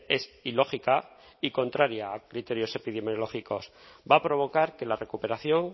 es ilógica y contraria a criterios epidemiológicos va a provocar que la recuperación